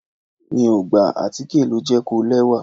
Mi ò gbà, àtíkè ló jẹ́ kó lẹ́wà.